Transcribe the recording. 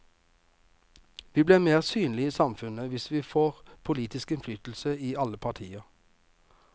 Vi blir mer synlige i samfunnet hvis vi får politisk innflytelse i alle partier.